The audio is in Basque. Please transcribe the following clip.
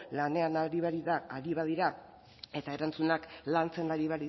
lanean ari baldin badira eta erantzunak lantzen ari